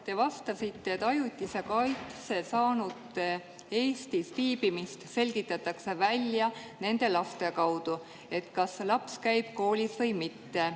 Te vastasite, et ajutise kaitse saanute Eestis viibimist selgitatakse välja nende laste kaudu, selle järgi, kas laps käib koolis või mitte.